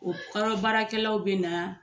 O kɔrɔ baarakɛlaw bɛ na